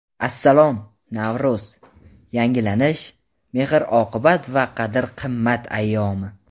"Assalom, Navro‘z — yangilanish, mehr-oqibat va qadr-qimmat ayyomi!"